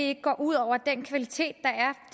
ikke går ud over den kvalitet